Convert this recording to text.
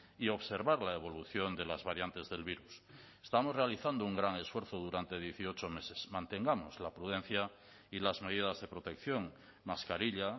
y observar la evolución de las variantes del virus estamos realizando un gran esfuerzo durante dieciocho meses mantengamos la prudencia y las medidas de protección mascarilla